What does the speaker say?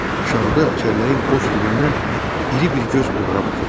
Aşağıda çəlləyin boş dibindən iri bir göz onlara baxırdı.